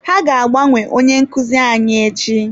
Ha ga-agbanwe onye nkuzi anyị echi.